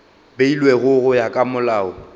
beilwego go ya ka molao